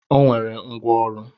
O nwere ngwá ọrụ.